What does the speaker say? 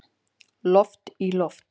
Loft í loft